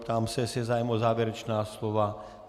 Ptám se, jestli je zájem o závěrečná slova.